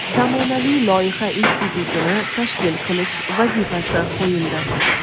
zamonaviy loyiha institutini tashkil qilish vazifasi qo‘yildi.